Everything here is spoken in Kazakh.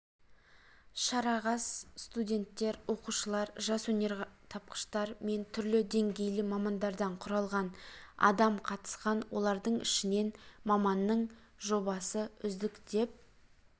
шарағастуденттер оқушылар жас өнертапқыштар мен түрлі деңгейлі мамандардан құралған адамқатысқан олардың ішінен маманның жобасы үздік деп